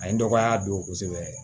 A ye dɔgɔya don kosɛbɛ